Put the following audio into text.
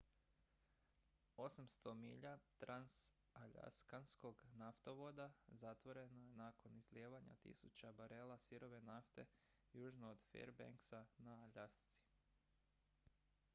800 milja transaljaskanskog naftovoda zatvoreno je nakon izlijevanja tisuća barela sirove nafte južno od fairbanksa na aljasci